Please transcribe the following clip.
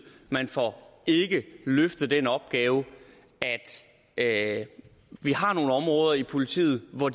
man får ikke løftet den opgave at vi har nogle områder i politiet hvor